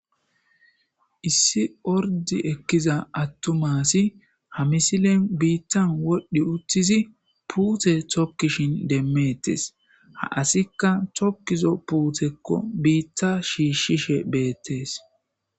Issi ordi ekkiza attuma asi ha misilen biittan wodhdhi uttizi puute tokkishin demmettes. ha asikka tokkizo puutekko biitta shiishshishe beettees.